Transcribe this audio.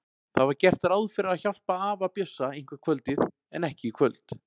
Það var gert ráð fyrir að hjálpa afa Bjössa eitthvert kvöldið en ekki í kvöld.